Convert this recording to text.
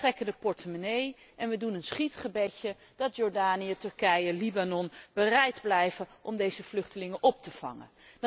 Wij trekken de portemonnee en we doen een schietgebedje dat Jordanië, Turkije, Libanon bereid blijven om deze vluchtelingen op te vangen.